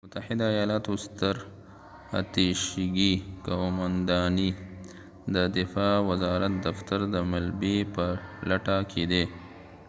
د متحده ایالاتو ستراتیژیکي قومانداني د دفاع وزارت دفتر د ملبې په لټه کی دی